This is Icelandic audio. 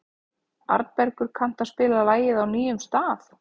Arnbergur, kanntu að spila lagið „Á nýjum stað“?